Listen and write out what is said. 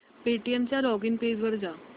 Paytm च्या login page वर जा